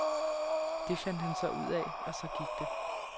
Det fandt han så ud af, og så gik det.